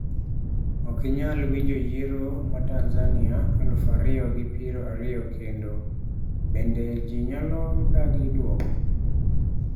Ok inyal winjo yiero ma Tanzania aluf ariyo gi piero ariyo kendo: bende ji nyalo dagi dwoko?